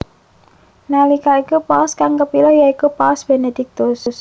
Nalika iku paus kang kepilih ya iku Paus Benediktus